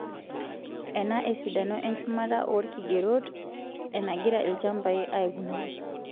Ena esidano enchumata oorkigerot enagira ilchampai aikunari;